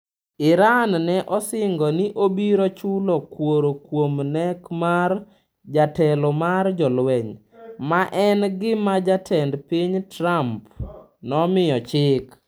Iran ne osingo ni obiro chulo kworo kuom nek mar jatelo mar jolweny, ma en gima Jatend piny Trump nomiyo chik.